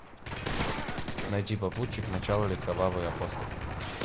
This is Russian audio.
найти попутчик начало или кровавый автостоп